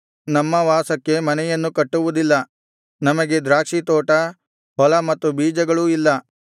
ನಮ್ಮ ವಾಸಕ್ಕೆ ಮನೆಯನ್ನು ಕಟ್ಟುವುದಿಲ್ಲ ನಮಗೆ ದ್ರಾಕ್ಷಿತೋಟ ಹೊಲ ಮತ್ತು ಬೀಜಗಳೂ ಇಲ್ಲ